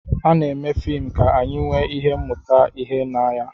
Ana-eme fim ka anyị nwee ike ịmụta ihe na ya